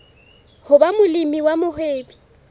ho ba molemi wa mohwebi